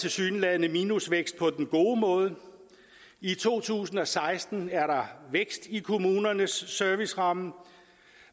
tilsyneladende minusvækst på den gode måde i to tusind og seksten er der vækst i kommunernes serviceramme